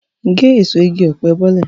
Gé èso igi ọ̀pẹ bọ́lẹ̀!